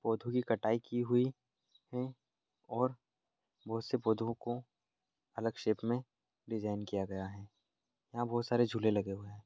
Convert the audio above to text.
पौधों की कटाई की हुई है और बहुत से पौधों को अलग शेप में डिजाइन किया गया हैं यहाँ बहुत सारे झूले लगे हुए हैं।